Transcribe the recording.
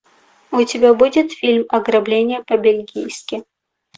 у тебя будет фильм ограбление по бельгийски